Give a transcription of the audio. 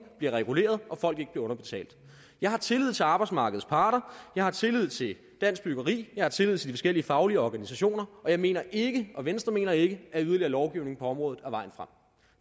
bliver reguleret og at folk ikke bliver underbetalt jeg har tillid til arbejdsmarkedets parter jeg har tillid til dansk byggeri jeg har tillid til de forskellige faglige organisationer og jeg mener ikke og venstre mener ikke at yderligere lovgivning på området er vejen frem